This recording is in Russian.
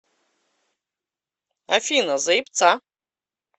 афина заебца